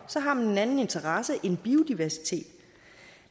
så har man en anden interesse end biodiversitet